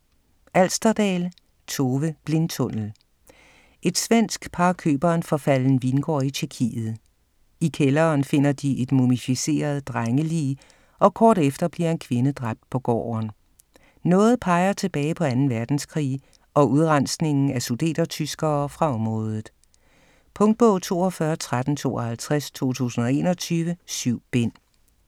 Alsterdal, Tove: Blindtunnel Et svensk par køber en forfalden vingård i Tjekkiet. I kælderen finder de et mumificeret drengelig, og kort efter bliver en kvinde dræbt på gården. Noget peger tilbage på anden verdenskrig og udrensningen af sudetertyskere fra området. Punktbog 421352 2021. 7 bind.